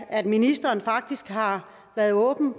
at ministeren faktisk har været åben